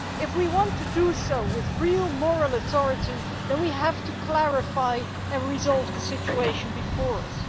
If we want to do so with real moral authority, then we need to clarify and resolve the situation before us.